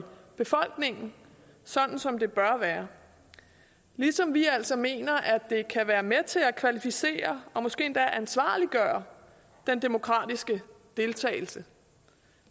befolkningen sådan som det bør være ligesom vi altså mener at det kan være med til at kvalificere og måske endda ansvarliggøre den demokratiske deltagelse